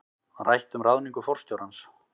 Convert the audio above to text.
Rætt um ráðningu forstjórans